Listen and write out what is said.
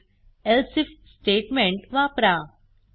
Hint else if statement वापरा